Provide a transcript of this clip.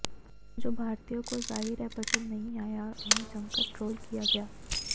जो भारतीयों को जाहिर है पसंद नहीं आया और उन्हें जमकर ट्रोल किया गया